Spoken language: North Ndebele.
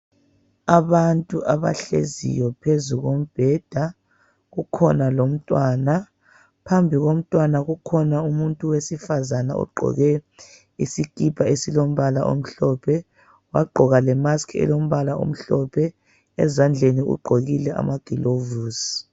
Abantu abahleziyo phezu kombheda. Kukhona lomntwana, phambi komntwana kukhona umuntu wesifazane ogqoke isikipa esilombala omhlophe. Wagqoka lemaski elombala omhlophe, ezandleni ugqokile amaglovisi.